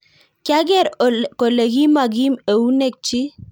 kyageer kole kimagiim eunekchik